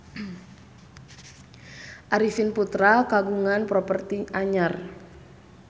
Arifin Putra kagungan properti anyar